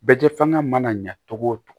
Bɛ kɛ fanga mana ɲa togo o cogo